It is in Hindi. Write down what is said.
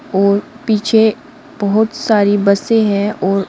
और पीछे बहोत सारी बसें हैं और--